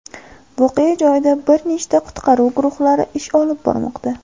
Voqea joyida bir nechta qutqaruv guruhlari ish olib bormoqda.